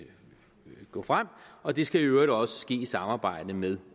gå frem og det skal i øvrigt også ske i samarbejde med